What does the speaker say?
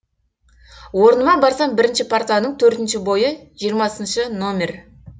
орныма барсам бірінші партаның төртінші бойы жиырмасыншы нөмір